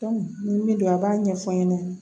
nin min don a b'a ɲɛfɔ n ɲɛna